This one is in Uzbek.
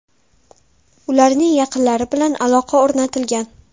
Ularning yaqinlari bilan aloqa o‘rnatilgan”.